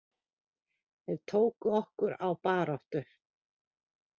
Þeir tóku okkur á baráttu.